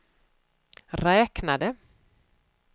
räknade